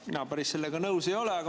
Mina sellega päris nõus ei ole.